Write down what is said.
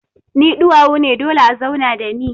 Ni duwawu ne dole a zauna da ni.